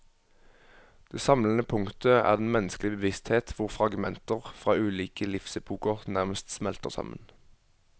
Det samlende punktet er den menneskelige bevissthet hvor fragmenter fra ulike livsepoker nærmest smelter sammen.